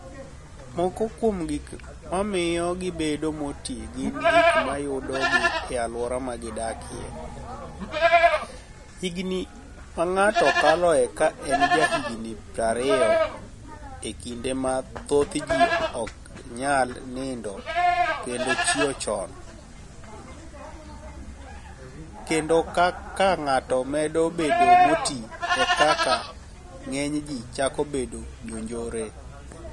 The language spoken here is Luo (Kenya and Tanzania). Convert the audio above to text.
Moko kuom gik mamiyo gibedo moti gini gik mayudogi e alwora ma gidakie, higinii ma nig'ato kaloe ka eni jahiginii 20, e kinide ma thoth ji ok niyal niinido kenido chiew choni, kenido kaka nig'ato medo bedo moti, e kaka nig'eniy ji chako bedo jonijore.